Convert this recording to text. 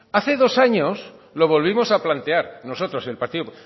hace dos años lo volvimos a plantear nosotros el partido